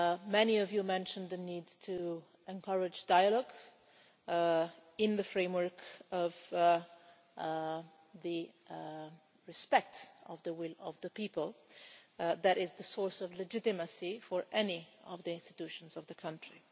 Many of you mentioned the need to encourage dialogue in the framework of the respect of the will of the people, which is the source of legitimacy for any of the institutions of the country.